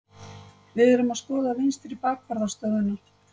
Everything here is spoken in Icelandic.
Við erum að skoða vinstri bakvarðar stöðuna.